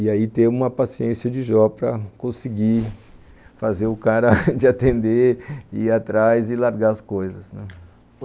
E aí, ter uma paciência de Jó para conseguir fazer o cara de atender ir atrás e largar as coisas.